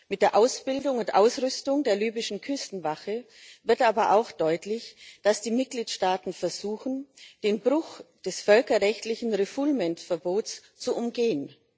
Mit der Ausbildung und Ausrüstung der libyschen Küstenwache wird aber auch deutlich, dass die Mitgliedstaaten versuchen, den Bruch des völkerrechtlichen Refoulement Verbots zu umgehen.